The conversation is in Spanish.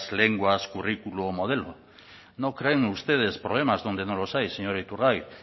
lenguas currículo o modelo no creen ustedes problemas donde no los hay señor iturgaiz